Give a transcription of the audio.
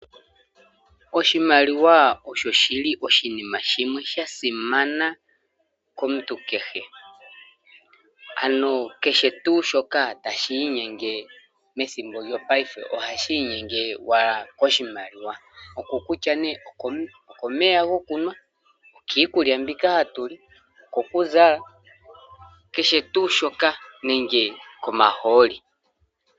Oshimaliwa osho shili oshinima shimwe shasimana komuntu kehe ano kehe tu shoka tashi inyenge pethimbo lyopaife ohashi inyenge wala koshimaliwa, okokutya ne okomeya gokunwa, okiikulya mbika hatuli, okokuzala kehe tu shoka nenge komahooli.